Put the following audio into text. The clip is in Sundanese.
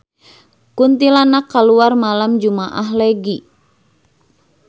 Kuntilanak kaluar malem jumaah Legi